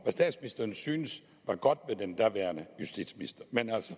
statsministeren synes var godt med den daværende justitsminister